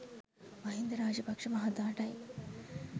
Mahinda Rajapaksa මහතාටයි.